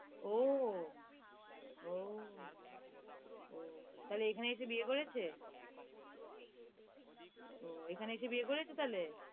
ওহ ওহ ওহ, তাহলে এখানে এসে বিয়ে করেছে? ওহ, এখানে এসে বিয়ে তাহলে?